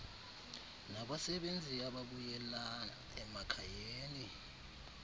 nabasebenzi ababuyela emakhayeni